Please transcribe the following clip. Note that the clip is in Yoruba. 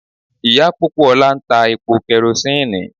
Ìyá Pópóọlá ń ta epo kẹrosíìnì.